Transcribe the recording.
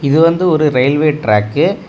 இது வந்து ஒரு ரயில்வே ட்ராக்கு .